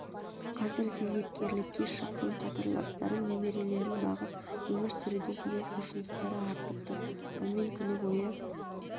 қазір зейнеткерлікке шықтым қатарластарым немерелерін бағып өмір сүруге деген құлшыныстары артып тұр ал мен күні бойы